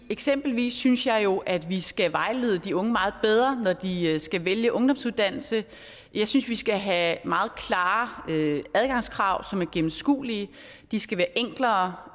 eksempelvis synes jeg jo at vi skal vejlede de unge meget bedre når de skal vælge ungdomsuddannelse jeg synes vi skal have meget klare adgangskrav som er gennemskuelige de skal være enklere